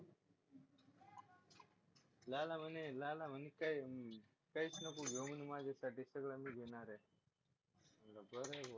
लाला म्हणे लाला म्हणे काही काहीच नको घेऊ माझ्यासाठी सगळं मी घेणार आहे म्हटलं बरं आहे बा